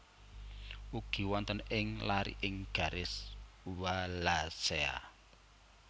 Ugi wonten ing lariking garis Wallacea